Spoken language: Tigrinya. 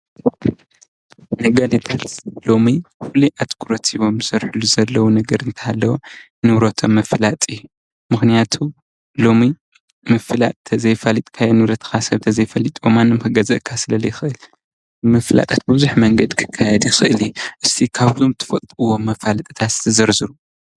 ነጋዴታት ሎሚ ፍሉይ ኣትኩረት ሂቦም ዝሰርሕሉ ዘለዉ ነገር እንተሃለወ ንብሮቶም ምፍላጥ እዩ። ምኽንያቱ ሎሚ ምፍላጥ እንተዘያፋሊጥካ ንብረትካ ሰብ እንተዘይኣፋሊጥዎ ማንም ክገዝኣካ ስለዘይክእል ምፍላጥ ብብዙሕ መንገዲ ይኽእል እዩ። እስቲ ካብቶም ትፈልጥዎም መፈለጢታት ዘርዝሩ?